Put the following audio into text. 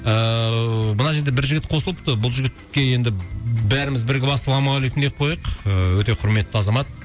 ііі мына жерде бір жігіт қосылыпты бұл жігітке енді бәріміз бірігіп ассалаумағалейкум деп қояйық ы өте құрметті азамат